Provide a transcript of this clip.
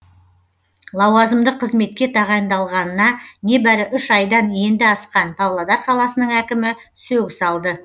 лауазымды қызметке тағайындалғанына небәрі үш айдан енді асқан павлодар қаласының әкімі сөгіс алды